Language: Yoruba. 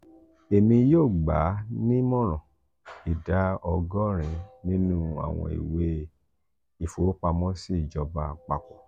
emi yoo gba a nimoran: ida ogorin ninu awọn iwe ifowopamosi ijọba apapọ.